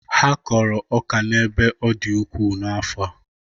Ha kọrọ ọka n'ebe ọ dị ukwuu n'afọ.